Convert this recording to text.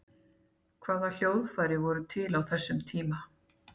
hvaða hljóðfæri voru til á þessum tíma